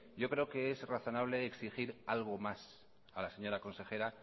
yo creo que es razonable exigir algo más a la señora consejera